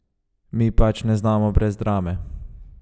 Mi pač ne znamo brez drame!